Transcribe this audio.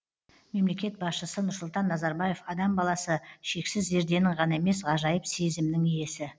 мемлекет басшысы нұрсұлтан назарбаев адам баласы шексіз зерденің ғана емес ғажайып сезімнің иесі